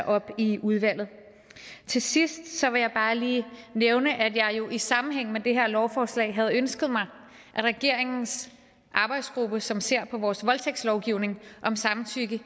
op i udvalget til sidst vil jeg bare lige nævne at jeg jo i sammenhæng med det her lovforslag havde ønsket mig at regeringens arbejdsgruppe som ser på vores voldtægtslovgivning om samtykke